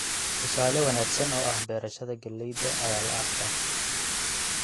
Tusaale wanaagsan oo ah beerashada galleyda ayaa la arkaa.